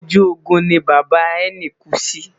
ojú Ogun ni bàbá ẹni ku sí